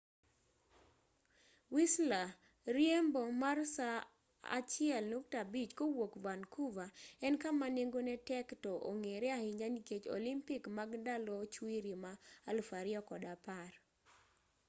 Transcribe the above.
whistler riembo mar saa 1.5 kowuok vancouver en kama nengone tek to ong'ere ahinya nikech olympic mag ndalo chwiri ma 2010